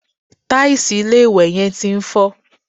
Tàìsì ilé-ìwẹ̀ yẹn ti ń fọ́